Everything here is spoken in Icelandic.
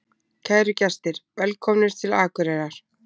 Kæru gestir! Velkomnir til Akureyrar.